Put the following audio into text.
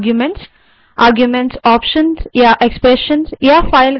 arguments options expressions या file हो सकते हैं